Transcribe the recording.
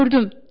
Gördüm.